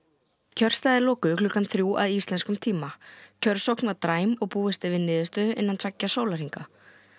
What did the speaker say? kjörstaðir lokuðu klukkan þrjú að íslenskum tíma kjörsókn var dræm og búist er við niðurstöðu innan tveggja sólarhringa